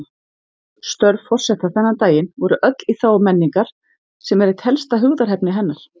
Störf forseta þennan daginn voru öll í þágu menningar, sem er eitt helsta hugðarefni hennar.